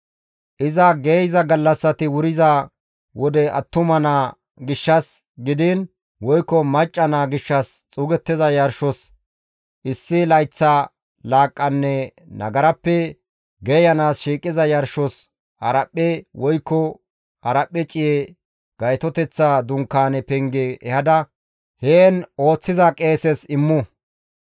« ‹Iza geeyza gallassati wuriza wode attuma naa gishshas gidiin woykko macca naa gishshas xuugettiza yarshos issi layththa laaqqanne nagarappe geeyanaas shiiqiza yarshos haraphphe woykko haraphphe ciye Gaytoteththa Dunkaane penge ehada heen ooththiza qeeses immu.